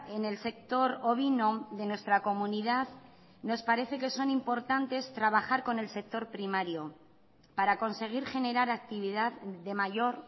en el sector ovino de nuestra comunidad nos parece que son importantes trabajar con el sector primario para conseguir generar actividad de mayor